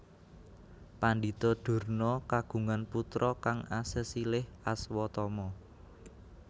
Pandhita Durna kagungan putra kang asesilih Aswatama